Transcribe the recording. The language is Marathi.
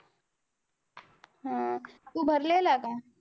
हम्म तू भरलेला का?